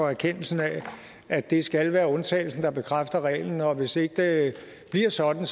erkendelsen af at det skal være undtagelsen der bekræfter reglen og hvis ikke det bliver sådan